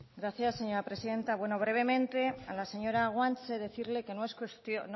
gracias señora presidenta brevemente a la señora guanche decirle que